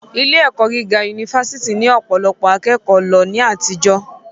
Ilé - ẹ̀kọ́ gíga unifásítì ni ọ̀pọ̀lọpọ̀ akẹ́kòó ń lọ ní àtijọ́